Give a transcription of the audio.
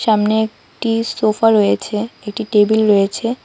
সামনে একটি সোফা রয়েছে একটি টেবিল রয়েছে।